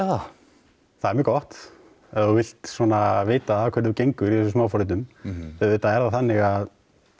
það það er mjög gott ef þú vilt vita að hverju þú gengur í þessum smá forritum auðvitað er það þannig að